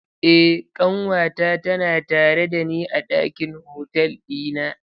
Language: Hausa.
Eh ƙanwata tana tare dani a ɗakin hotel ɗina.